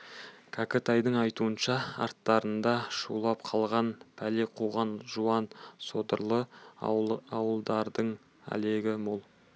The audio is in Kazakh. кәкітайдың айтуынша арттарында шулап қалған пәле қуған жуан содырлы ауылдардың әлегі мол